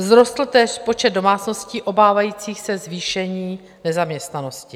Vzrostl též počet domácností obávajících se zvýšení nezaměstnanosti.